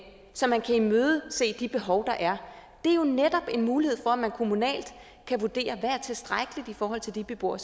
så man kan imødese de behov der er det er jo netop en mulighed for at man kommunalt kan vurdere hvad der er tilstrækkeligt i forhold til de beboere